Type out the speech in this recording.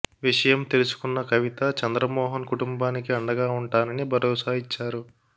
విషయం తెలుసుకున్న కవిత చంద్రమోహన్ కుటుంబానికి అండగా ఉంటానని భరోసా ఇచ్చారు